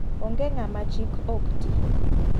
Ong'e ng'ama chik ok ti.